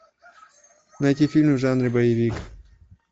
найти фильмы в жанре боевик